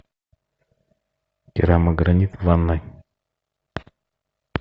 керамогранит в ванной